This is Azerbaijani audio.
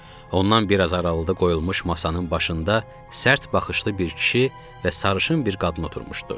Ondan biraz aralıda qoyulmuş masanın başında sərt baxışlı bir kişi və sarışın bir qadın oturmuşdu.